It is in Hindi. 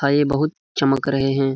हा ये बहुत चमक रहे हैं।